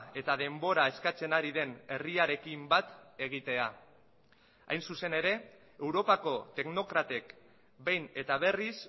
eta denbora eskatzen ari den herriarekin bat egitea hain zuzen ere europako teknokratek behin eta berriz